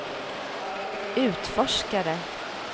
utforskare